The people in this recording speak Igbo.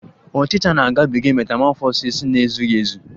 Ọchicha na-agabiga metamọfọsis na-ezughị ezu